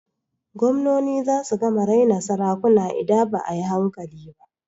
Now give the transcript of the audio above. Gwamnoni zasu gama raina sarakuna ida ba a yi hankali ba.